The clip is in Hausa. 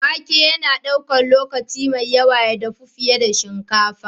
Wake yana ɗaukar lokaci mai yawa ya dafu fiye da shinkafa.